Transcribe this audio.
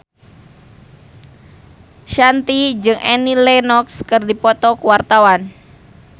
Shanti jeung Annie Lenox keur dipoto ku wartawan